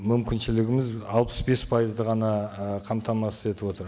мүмкіншілігіміз алпыс бес пайызды ғана ы қамтамасыз етіп отыр